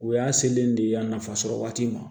O y'a selen de ye yan nafa sɔrɔ waati ma